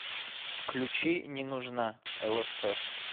включи не нужна лсп